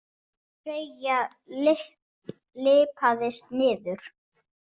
Freyja lyppaðist niður.